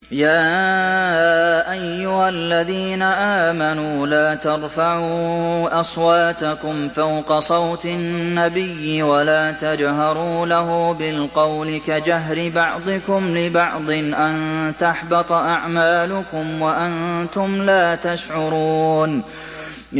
يَا أَيُّهَا الَّذِينَ آمَنُوا لَا تَرْفَعُوا أَصْوَاتَكُمْ فَوْقَ صَوْتِ النَّبِيِّ وَلَا تَجْهَرُوا لَهُ بِالْقَوْلِ كَجَهْرِ بَعْضِكُمْ لِبَعْضٍ أَن تَحْبَطَ أَعْمَالُكُمْ وَأَنتُمْ لَا تَشْعُرُونَ